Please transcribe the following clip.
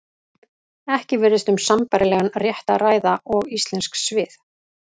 Ekki virðist um sambærilegan rétt að ræða og íslensk svið.